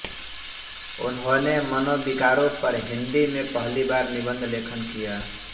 उन्होंने मनोविकारों पर हिंदी में पहली बार निबंध लेखन किया